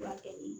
Furakɛ ni